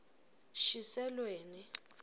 shiselweni